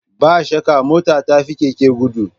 Ba shakka mota ta fi keke gudu